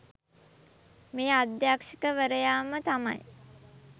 මේ අධ්‍යෂකවරයාම තමයි.